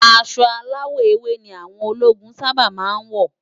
Aṣọ áláwò éwé ni áwòn ólógún sàbá má n wó